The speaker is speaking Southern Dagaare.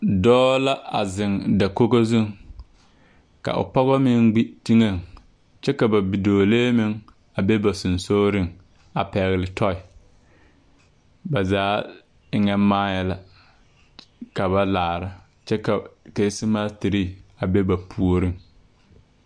Dɔɔ la a zeŋ dakogo zuŋ ka o pɔgɔ meŋ gbi teŋɛŋ kyɛ ka ba bidɔɔlee meŋ a be ba seŋsugliŋ a pɛgle tɔɔi ba zaa eŋɛ maayɛɛ la ka ba laare kyɛ keese materre a be ba puoriŋ.